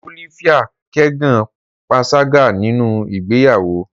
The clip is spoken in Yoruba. Olivia kẹgan panṣaga ninu igbeyawo